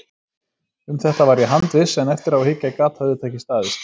Um þetta var ég handviss, en eftir á að hyggja gat það auðvitað ekki staðist.